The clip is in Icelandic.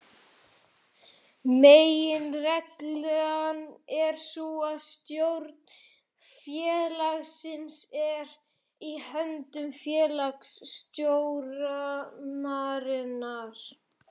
Meginreglan er sú að stjórn félagsins er í höndum félagsstjórnarinnar.